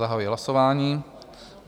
Zahajuji hlasování.